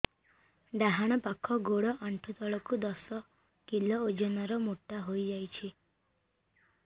ଡାହାଣ ପାଖ ଗୋଡ଼ ଆଣ୍ଠୁ ତଳକୁ ଦଶ କିଲ ଓଜନ ର ମୋଟା ହେଇଯାଇଛି